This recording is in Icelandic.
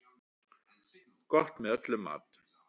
Gott með öllum mat.